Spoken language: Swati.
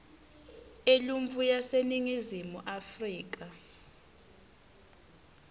eluntfu yaseningizimu afrika